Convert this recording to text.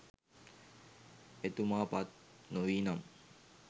එතුමා පත් නොවීනම්